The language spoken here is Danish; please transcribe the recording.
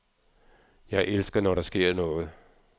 Jeg elsker, når der sker noget.